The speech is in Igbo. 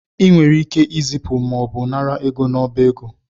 I nwere ike ịzịpụ mọọbụ nara ego n’ọba ego